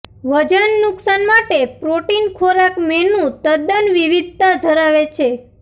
વજન નુકશાન માટે પ્રોટીન ખોરાક મેનુ તદ્દન વિવિધતા ધરાવે છે